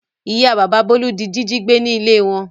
Ìyá bàbá Bólú di jíjí gbé ní ilé wọn.